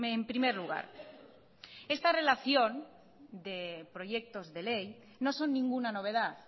en primer lugar esta relación de proyectos de ley no son ninguna novedad